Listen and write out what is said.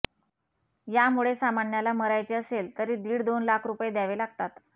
यामुळे सामान्याला मरायचे असेल तरी दीड दोन लाख रुपये द्यावे लागतात